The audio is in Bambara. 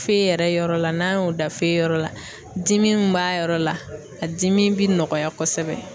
yɛrɛ yɔrɔ la n'an y'o da yɔrɔ la dimi min b'a yɔrɔ la a dimi bi nɔgɔya kɔsɛbɛ.